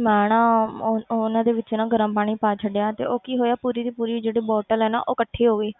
ਮੈਂ ਨਾ ਉਹ ਉਹਨਾਂ ਦੇ ਵਿੱਚ ਨਾ ਗਰਮ ਪਾਣੀ ਪਾ ਛੱਡਿਆ ਤੇ ਉਹ ਕੀ ਹੋਇਆ ਪੂਰੀ ਦੀ ਪੂਰੀ ਜਿਹੜੀ bottle ਹੈ ਨਾ ਉਹ ਇਕੱਠੀ ਹੋ ਗਈ